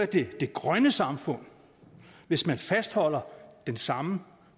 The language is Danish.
det grønne samfund hvis man fastholder den samme